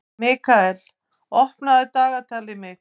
Mikkael, opnaðu dagatalið mitt.